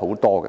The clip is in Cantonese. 代理